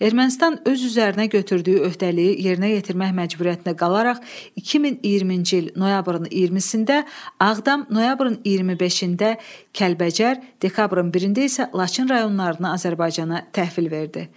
Ermənistan öz üzərinə götürdüyü öhdəliyi yerinə yetirmək məcburiyyətində qalaraq 2020-ci il noyabrın 20-də Ağdam, noyabrın 25-də Kəlbəcər, dekabrın 1-də isə Laçın rayonlarını Azərbaycana təhvil verdi.